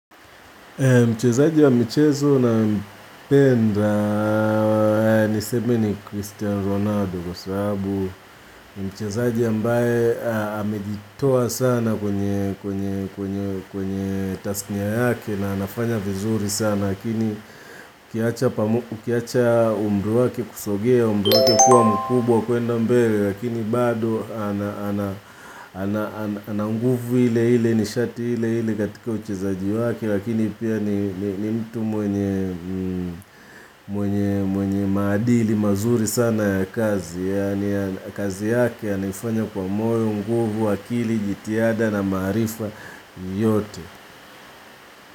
Mchezaji wa michezo nayempenda niseme ni Christiano Ronaldo kwa sababu mchezaji ambaye amejitoa sana kwenye tasnia yake na anafanya vizuri sana lakini ukiacha umri wake kusogea umri wake kuwa mkubwa kwenda mbele lakini bado ana ana nguvu ile ile ni sharti ile ile katika uchezaji wake lakini pia ni ni mtu mwenye mwenye maadili mazuri sana ya kazi yaani kazi yake anaifanya kwa moyo, nguvu, akili, jitiada na maarifa yote.